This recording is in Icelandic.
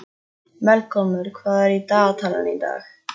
Melkólmur, hvað er í dagatalinu í dag?